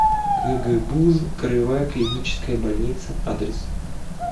кгбуз краевая клиническая больница адрес